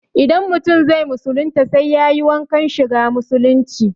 Idan mutum zai musulunta sai yayi wankan shiga musulunci